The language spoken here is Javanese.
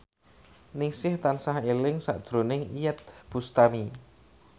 Ningsih tansah eling sakjroning Iyeth Bustami